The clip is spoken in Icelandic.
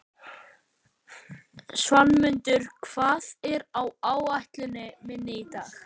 Svanmundur, hvað er á áætluninni minni í dag?